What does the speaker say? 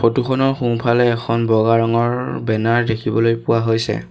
ফটোখনৰ সোঁফালে এখন বগা ৰঙৰ বেনাৰ দেখিবলৈ পোৱা হৈছে।